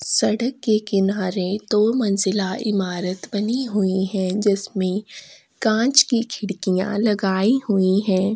सड़क के किनारे दो मंजिला इमारत बनी हुई है जिसमे कांच की खिड़कियां लगायी हुई है।